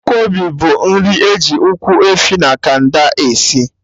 Nkwobi bụ nri eji Ụkwụ efi na canda esi